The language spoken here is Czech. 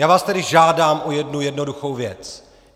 Já vás tedy žádám o jednu jednoduchou věc.